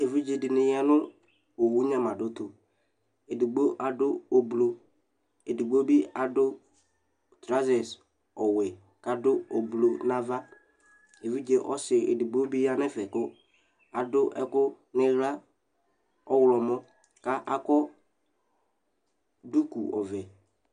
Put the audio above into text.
Evidzedɩnɩ ya nʋ owu nyamadʋtʋ: edigbo adʋ ʋblʋ , edigbo bɩ adʋ trɔza ɔwɛ k'adʋ ʋblʋ n'ava Evidze ɔsɩ edigbo bi ya n'ɛfɛ kʋ adʋ ɛkʋ n'ɩɣla ɔɣlɔmɔ , ka akɔ duku ɔvɛ